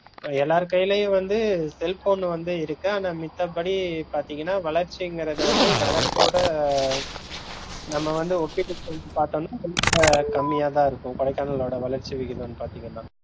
எல்லார் கைளையும் வந்து cellphone வந்து இருக்கு ஆனா மித்தபடி பாத்தீங்கன்னா வளர்ச்சின்றது வந்து நகரத்தோட நம்ம வந்து ஒப்பிட்டு செஞ்சு பாத்தோம்னா ரொம்ப கம்மியாதா இருக்கும் கொடைக்கானளோட வளர்ச்சி வீகிதம் பாத்திங்கனா